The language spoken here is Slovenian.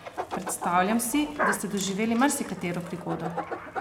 Predstavljam si, da ste doživeli marsikatero prigodo?